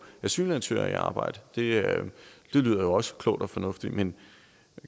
asylansøgere i arbejde det lyder jo også klogt og fornuftigt men